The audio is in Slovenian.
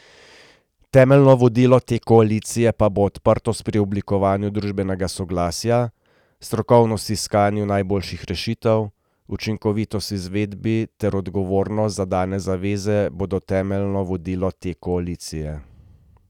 Temeljno vodilo te koalicje pa bo odprtost pri oblikovanju družbenega soglasja, strokovnost v iskanju najboljših rešitev, učinkovitost v izvedbi ter odgovornost za dane zaveze bodo temeljno vodilo te koalicije.